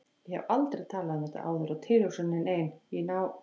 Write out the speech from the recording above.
Ég hef aldrei talað um þetta áður og tilhugsunin ein, í ná